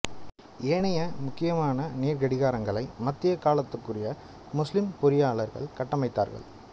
ஏனைய முக்கியமான நீர்க் கடிகாரங்களை மத்திய காலத்துக்குரிய முஸ்லிம் பொறியியலாளர்கள் கட்டமைத்தார்கள்